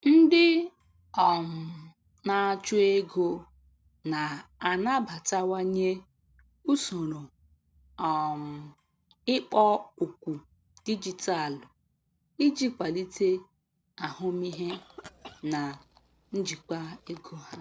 Ndị um na-achụ ego na-anabatawanye usoro um ikpo okwu dijitalụ iji kwalite ahụmịhe na njikwa ego ha.